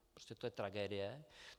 Prostě to je tragédie.